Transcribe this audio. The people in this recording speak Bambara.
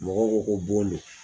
Mɔgɔw ko ko bon do.